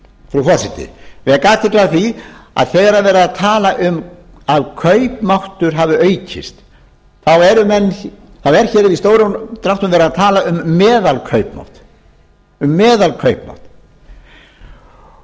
frú forseti ég vek athygli á því að þegar er verið að tala um að kaupmáttur hafi aukist þá er hér í stórum dráttum verið að tala um meðalkaupmátt og það